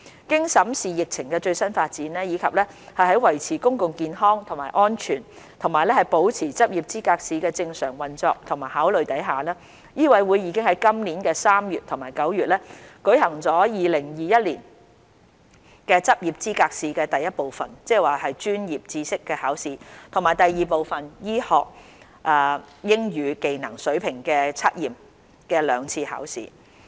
經審視疫情的最新發展，以及在維持公共健康和安全及保持執業資格試的正常運作的考慮下，醫委會已在今年3月及9月舉行2021年執業資格試第一部分：專業知識考試及第二部分：醫學英語技能水平測驗的兩次考試。